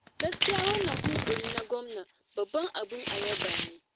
Gaskiya wannan yunƙuri na Gwamna babban abin a yaba ne.